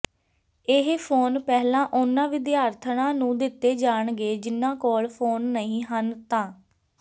ਇਹ ਫੋਨ ਪਹਿਲਾਂ ਉਨ੍ਹਾਂ ਵਿਦਿਆਰਥਣਾਂ ਨੂੰ ਦਿੱਤੇ ਜਾਣਗੇ ਜਿਨ੍ਹਾਂ ਕੋਲ ਫੋਨ ਨਹੀਂ ਹਨ ਤਾ